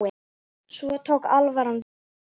Svo tók alvaran við.